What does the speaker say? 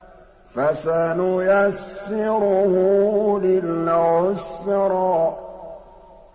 فَسَنُيَسِّرُهُ لِلْعُسْرَىٰ